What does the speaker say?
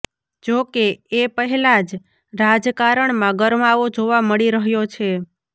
જો કે એ પહેલા જ રાજકારણમાં ગરમાવો જોવા મળી રહ્યો છે